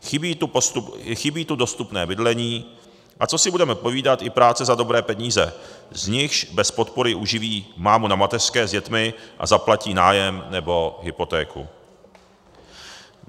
Chybí tu dostupné bydlení, a co si budeme povídat, i práce za dobré peníze, z nichž bez podpory uživí mámu na mateřské s dětmi a zaplatí nájem nebo hypotéku.